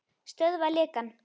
Stöðva lekann.